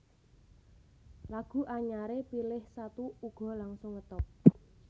Lagu anyaré Pilih Satu uga langsung ngetop